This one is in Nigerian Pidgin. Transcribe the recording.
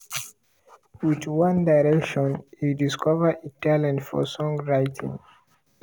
with one direction e discover a talent for songwriting.